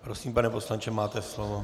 Prosím, pane poslanče, máte slovo.